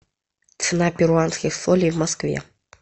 цена перуанских солей в москве